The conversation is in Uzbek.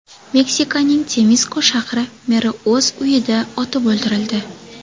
Meksikaning Temisko shahri meri o‘z uyida otib o‘ldirildi.